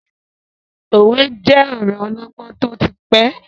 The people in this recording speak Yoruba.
Òwe je ọ̀rọ ọlọgbọ́n tó ti pẹ́.